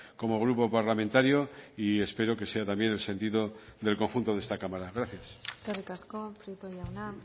como grupo parlamentario y espero que sea también el sentido del conjunto de esta cámara gracias eskerrik asko prieto jauna